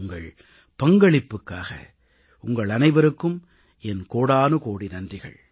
உங்கள் பங்களிப்புக்காக உங்கள் அனைவருக்கும் என் கோடானுகோடி நன்றிகள்